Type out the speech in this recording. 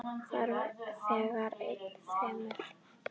Þar segir enn fremur